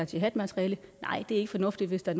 jihadmateriale nej det er ikke fornuftigt hvis der